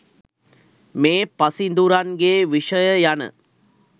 මේ පසිඳුරන් ගේ විෂය යන